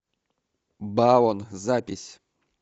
баон запись